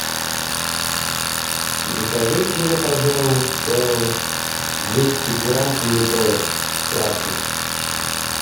закажите мне пожалуйста двести грамм помидоров красных